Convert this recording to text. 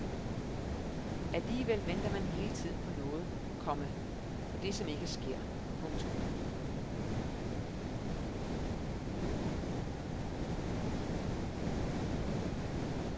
Alligevel venter man hele tiden på noget, komma på det som ikke sker. punktum